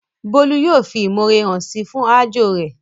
Bólú yóò fi ìmọ̀ore hàn síi fún aájò rẹ̀